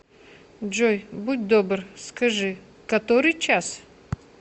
джой будь добр скажи который час